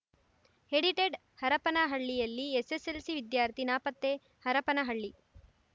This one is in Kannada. ಎಡಿಟೆಡ್‌ ಹರಪನಹಳ್ಳಿಯಲ್ಲಿ ಎಸ್ಸೆಸ್ಸೆಲ್ಸಿ ವಿದ್ಯಾರ್ಥಿ ನಾಪತ್ತೆ ಹರಪನಹಳ್ಳಿ